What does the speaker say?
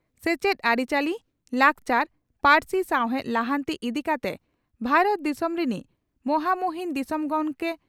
ᱥᱮᱪᱮᱫ ᱟᱨᱤᱪᱟᱞᱤ, ᱞᱟᱠᱪᱟᱨ ,,ᱯᱟᱹᱨᱥᱤ ᱥᱟᱣᱦᱮᱫ ᱞᱟᱦᱟᱱᱛᱤ ᱤᱫᱤ ᱠᱟᱛᱮ ᱵᱷᱟᱨᱚᱛ ᱫᱤᱥᱚᱢ ᱨᱤᱱᱤᱡ ᱢᱚᱦᱟᱢᱩᱦᱤᱱ ᱫᱤᱥᱚᱢ ᱜᱚᱢᱠᱮ (ᱨᱟᱥᱴᱨᱚᱯᱳᱛᱤ)